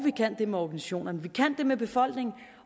vi kan det med organisationerne vi kan det med befolkningen